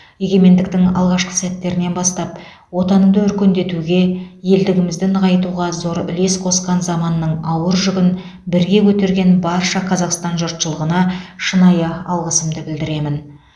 егемендіктің алғашқы сәттерінен бастап отанымызды өркендетуге елдігімізді нығайтуға зор үлес қосқан заманның ауыр жүгін бірге көтерген барша қазақстан жұртшылығына шынайы алғысымды білдіремін